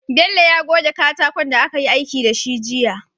Bello ya goge katakon da akayi aiki dashi jiya